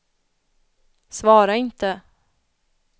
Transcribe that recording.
svara inte